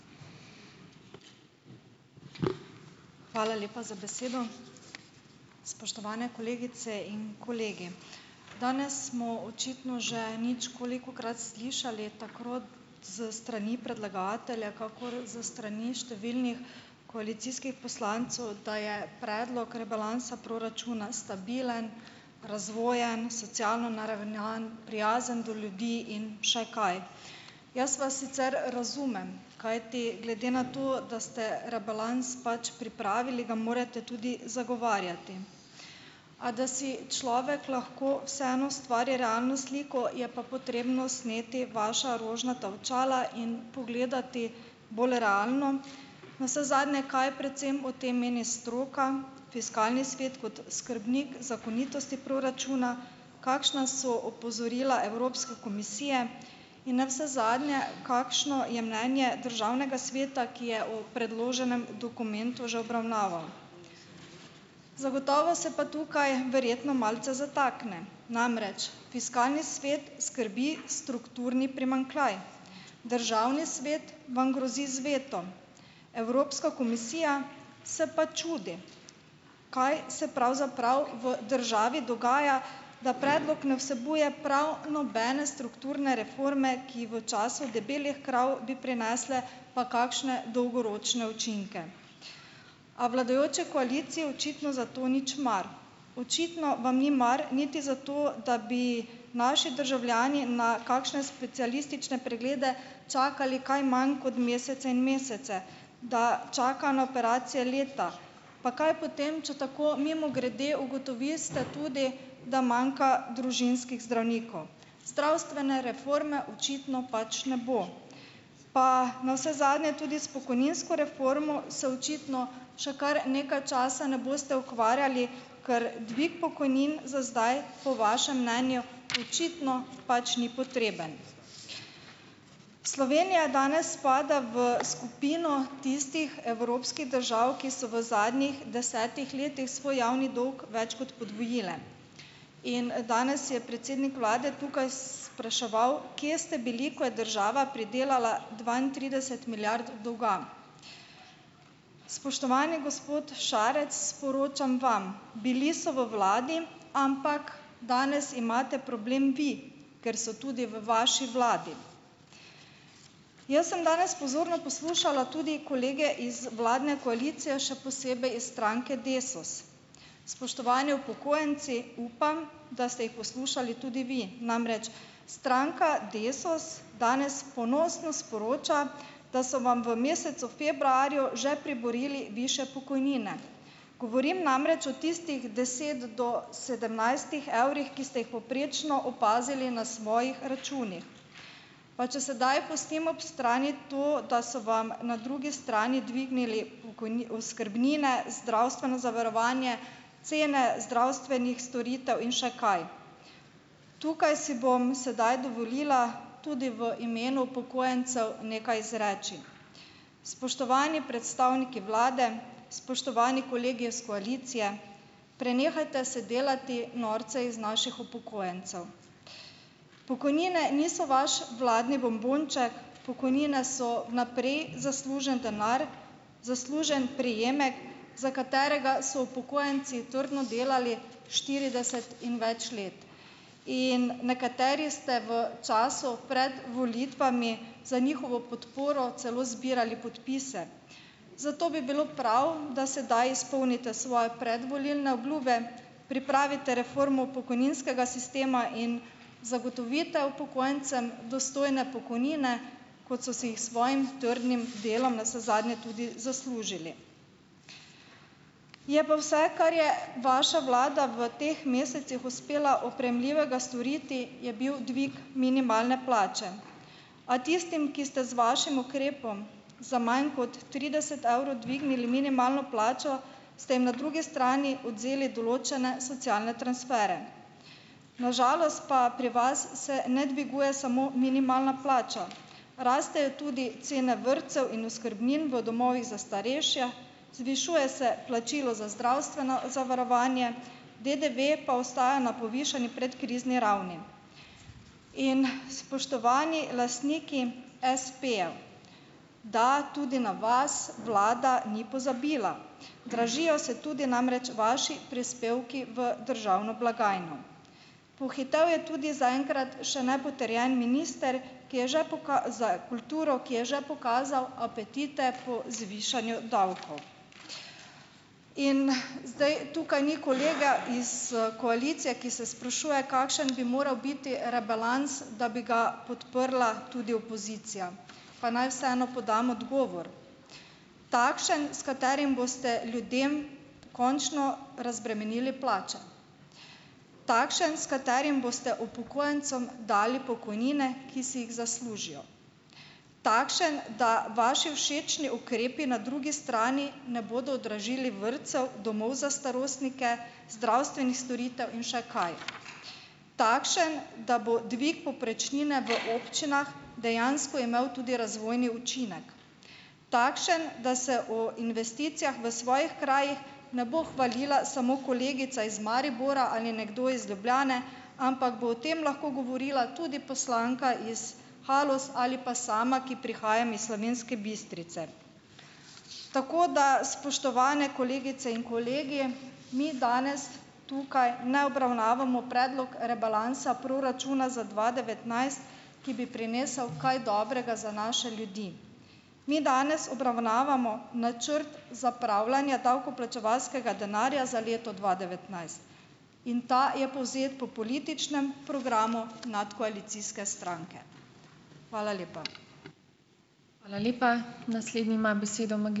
Hvala lepa za besedo, spoštovane kolegice in kolegi, danes smo očitno že ničkolikokrat slišali tako s strani predlagatelja kakor s strani številnih koalicijskih poslancev, da je predlog rebalansa proračuna stabilen, razvojen, socialno naravnan, prijazen do ljudi in še kaj. Jaz vas sicer razumem, kajti glede na to, da ste rebalans pač pripravili, ga morate tudi zagovarjati, a da si človek lahko vseeno ustvari realno sliko, je pa potrebno sneti vaša rožnata očala in pogledati bolj realno, navsezadnje, kaj predvsem o tem meni stroka, fiskalni svet kot skrbnik zakonitosti proračuna, kakšna so opozorila Evropske komisije in navsezadnje, kakšno je mnenje državnega sveta, ki je o predloženem dokumentu že obravnaval. Zagotovo se pa tukaj verjetno malce zatakne, namreč fiskalni svet skrbi strukturni primanjkljaj, državni svet vam grozi z vetom, Evropska komisija se pa čudi, kaj se pravzaprav v državi dogaja, da predlog ne vsebuje prav nobene strukturne reforme, ki v času debelih krav bi prinesle pa kakšne dolgoročne učinke. A vladajoči koaliciji očitno za to nič mar, očitno vam ni mar niti za to, da bi naši državljani na kakšne specialistične preglede čakali kaj manj kot mesece in mesece, da čaka na operacijo leta, pa kaj potem, če tako mimogrede ugotovite tudi, da manjka družinskih zdravnikov, zdravstvene reforme očitno pač ne bo, pa navsezadnje tudi s pokojninsko reformo se očitno še kar nekaj časa ne boste ukvarjali, ker dvig pokojnin za zdaj po vašem mnenju očitno pač ni potreben. Slovenija danes spada v skupino tistih evropskih držav, ki so v zadnjih desetih letih svoj javni dolg več kot podvojile in danes je predsednik vlade tukaj spraševal, kje ste bili, ko je država pridelala dvaintrideset milijard dolga. Spoštovani gospod Šarec, sporočam vam, bili so v vladi, ampak danes imate problem vi, ker so tudi v vaši vladi. Jaz sem danes pozorno poslušala tudi kolege iz vladne koalicije, še posebej iz stranke Desus, spoštovani upokojenci, upam, da ste jih poslušali tudi vi, namreč stranka Desus danes ponosno sporoča, da so vam v mesecu februarju že priborili višje pokojnine, govorim namreč o tistih deset do sedemnajstih evrih, ki ste jih povprečno opazili na svojih računih, pa če sedaj pustim ob strani to, da so vam na drugi strani dvignili oskrbnine, zdravstveno zavarovanje, cene zdravstvenih storitev in še kaj. Tukaj si bom sedaj dovolila tudi v imenu upokojencev nekaj izreči, spoštovani predstavniki vlade, spoštovani kolegi iz koalicije, prenehajte se delati norca iz naših upokojencev, pokojnine niso vaš vladni bombonček, pokojnine so naprej zaslužen denar, zaslužen prejemek, za katerega so upokojenci trdno delali štirideset in več let in nekateri ste v času pred volitvami za njihovo podporo celo zbirali podpise, zato bi bilo prav, da sedaj izpolnite svoje predvolilne obljube, pripravite reformo pokojninskega sistema in zagotovite upokojencem dostojne pokojnine, kot so si jih svojim trdnim delom navsezadnje tudi zaslužili. Je pa vse, kar je vaša vlada v teh mesecih uspela oprijemljivega storiti, je bil dvig minimalne plače, a tistim, ki ste z vašim ukrepom za manj kot trideset evrov dvignili minimalno plačo, ste jim na drugi strani odvzeli določene socialne transfere, na žalost pa pri vas se ne dviguje samo minimalna plača, rastejo tudi cene vrtcev in oskrbnin v domovih za starejše, zvišuje se plačilo za zdravstveno zavarovanje, DDV pa ostaja na povišani predkrizni ravni. In spoštovani lastniki espejev, da, tudi na vas vlada ni pozabila, dražijo se tudi namreč vaši prispevki v državno blagajno, pohitel je tudi zaenkrat še nepotrjeni minister, ki je že za kulturo, ki je že pokazal apetite po zvišanju davkov, in zdaj tukaj ni kolega iz, koalicije, ki se sprašuje, kakšen biti rebalans, da bi ga podprla tudi opozicija. Pa naj vseeno podam odgovor: takšen, s katerim boste ljudem končno razbremenili plače, takšen, s katerim boste upokojencem dali pokojnine, ki si jih zaslužijo, takšen, da vaši všečni ukrepi na drugi strani ne bodo dražili vrtcev, domov za starostnike, zdravstvenih storitev in še kaj, takšen, da bo dvig povprečnine v občinah dejansko imel tudi razvojni učinek, takšen, da se o investicijah v svojih krajih ne bo hvalila samo kolegica iz Maribora ali nekdo iz Ljubljane, ampak bo o tem lahko govorila tudi poslanka iz Haloz ali pa sama, ki prihajam iz Slovenske Bistrice, tako da, spoštovane kolegice in kolegi, mi danes tukaj ne obravnavamo predlog rebalansa proračuna za dva devetnajst, ki bi prinesel kaj dobrega za naše ljudi, mi danes obravnavamo načrt zapravljanja davkoplačevalskega denarja za leto dva devetnajst in ta je povzet po političnem programu nadkoalicijske stranke. Hvala lepa.